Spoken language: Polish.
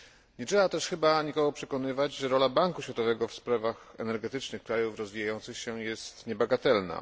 Nie trzeba też chyba nikogo przekonywać, że rola Banku Światowego w sprawach energetycznych krajów rozwijających się, jest niebagatelna.